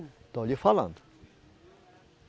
Estou lhe falando.